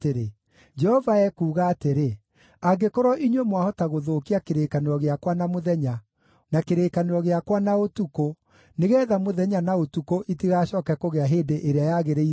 “Jehova ekuuga atĩrĩ: ‘Angĩkorwo inyuĩ mwahota gũthũkia kĩrĩkanĩro gĩakwa na mũthenya, na kĩrĩkanĩro gĩakwa na ũtukũ, nĩgeetha mũthenya na ũtukũ itigacooke kũgĩa hĩndĩ ĩrĩa yagĩrĩire-rĩ,